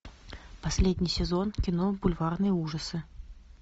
последний сезон кино бульварные ужасы